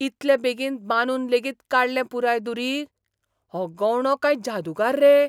इतलें बेगीन बांदून लेगीत काडलें पुराय दुरीग? हो गवंडो काय जादूगार रे?